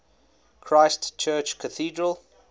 christ church cathedral